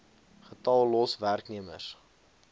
getal los werknemers